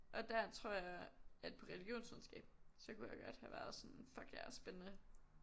Og der tror jeg at på religionsvidenskab så kunne jeg godt have været sådan fuck yeah spændende